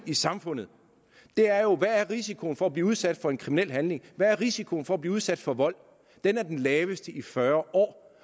i samfundet er jo hvad risikoen er for at blive udsat for en kriminel handling hvad er risikoen for at blive udsat for vold den er den laveste i fyrre år